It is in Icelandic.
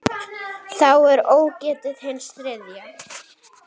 Þá er ógetið hins þriðja.